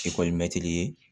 ye